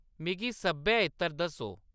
मिगी सब्भै इत्तर दस्सो।